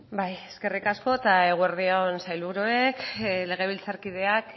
bai eskerrik asko eta eguerdi on sailburuek legebiltzarkideak